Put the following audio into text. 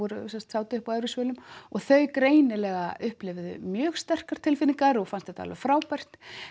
sátu upp á efri svölum og þau greinilega upplifðu mjög sterkar tilfinningar og fannst þetta alveg frábært